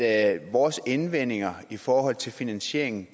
at vores indvendinger i forhold til finansieringen